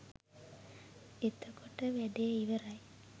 එතකොට වැඩේ ඉවරයි.